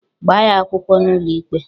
Gbaa ya akwụkwọ n'ụlọikpe!